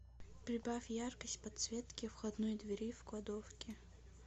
прибавь яркость подсветки входной двери в кладовке